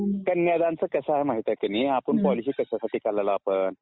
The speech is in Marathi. कन्यादान चं कसं आहे माहित आहे कि नाही? आपण पॉलिसी कशासाठी काढायला लागलो आपण?